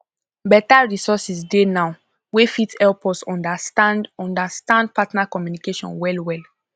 beta resources dey now wey fit help us understand understand partner communication well well